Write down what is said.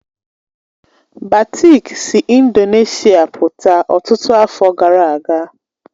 Batik si Indonesia pụta ọtụtụ afọ gara aga